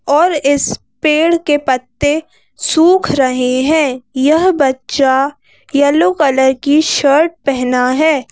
और इस पेड़ के पत्ते सूख रहे हैं यह बच्चा येलो कलर की शर्ट पहना है।